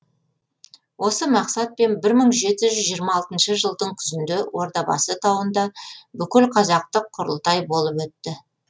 осы мақсатпен мың жеті жүз жиырма алтыншы жылдың күзінде ордабасы тауында бүкілқазақтық құрылтай болып өтті